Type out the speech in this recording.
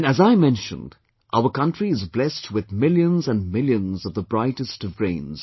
And as I mentioned, our country is blessed with millions and millions of the brightest of brains